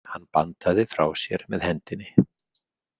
Hann bandaði frá sér með hendinni.